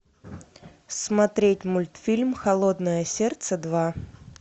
смотреть мультфильм холодное сердце два